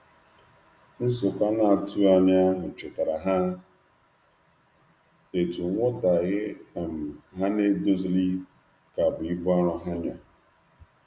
Nzukọ anatughi anya ahu chetara ha etu nwotaghe um ha n'edozilighi ka bụ ibụ arọ ha nya